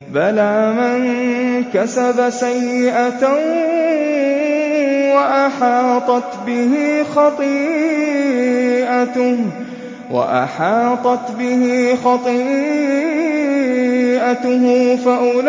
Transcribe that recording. بَلَىٰ مَن كَسَبَ سَيِّئَةً وَأَحَاطَتْ بِهِ خَطِيئَتُهُ فَأُولَٰئِكَ